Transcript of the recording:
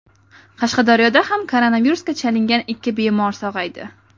Qashqadaryoda ham koronavirusga chalingan ikki bemor sog‘aydi.